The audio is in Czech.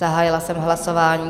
Zahájila jsem hlasování.